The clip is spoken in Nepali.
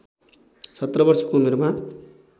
१७ वर्षको उमेरमा